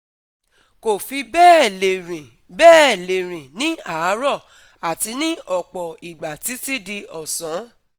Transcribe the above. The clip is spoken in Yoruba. Kò fi bẹ́ẹ̀ lè rìn bẹ́ẹ̀ lè rìn ní àárọ̀ àti ní ọ̀pọ̀ ìgbà títí di ọ̀sán